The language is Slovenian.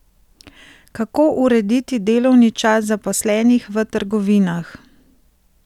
Kako urediti delovni čas zaposlenih v trgovinah?